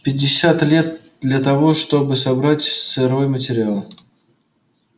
пятьдесят лет для того чтобы собрать сырой материал